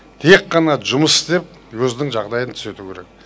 тек қана жұмыс істеп өзінің жағдайын түзету керек